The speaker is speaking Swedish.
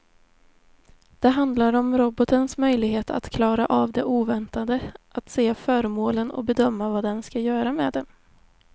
Det handlar om robotens möjlighet att klara av det oväntade, att se föremålen och bedöma vad den ska göra med dem.